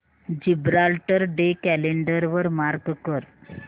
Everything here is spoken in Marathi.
जिब्राल्टर डे कॅलेंडर वर मार्क कर